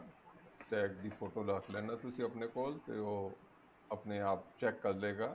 tag ਦੀ photo ਰੱਖ ਲੇਣਾ ਤੁਸੀਂ ਆਪਨੇ ਕੋਲ ਤੇ ਉਹ ਆਪਣੇ ਆਪ check ਕਰਲੇਗਾ